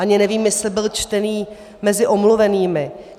Ani nevím, jestli byl čtený mezi omluvenými.